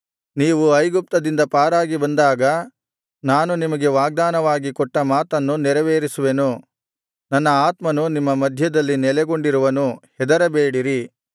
ನೀವು ಐಗುಪ್ತದಿಂದ ಪಾರಾಗಿ ಬಂದಾಗ ನಾನು ನಿಮಗೆ ವಾಗ್ದಾನವಾಗಿ ಕೊಟ್ಟ ಮಾತನ್ನು ನೆರವೇರಿಸುವೆನು ನನ್ನ ಆತ್ಮನು ನಿಮ್ಮ ಮಧ್ಯದಲ್ಲಿ ನೆಲೆಗೊಂಡಿರುವನು ಹೆದರಬೇಡಿರಿ